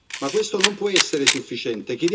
Ma questo non può essere sufficiente.